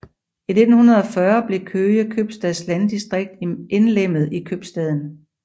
I 1940 blev Køge købstads landdistrikt indlemmet i købstaden